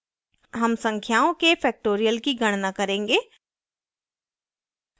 हम संख्याओं के factorial की गणना करेंगे